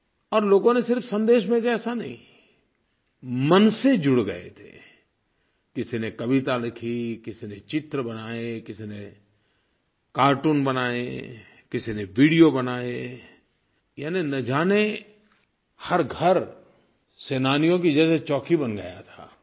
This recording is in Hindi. और लोगों ने सिर्फ़ सन्देश भेजे ऐसा नहीं मन से जुड़ गए थे किसी ने कविता लिखी किसी ने चित्र बनाए किसी ने कार्टून बनाए किसी ने वीडियो बनाए यानि न जाने हर घर सेनानियों की जैसे चौकी बन गया था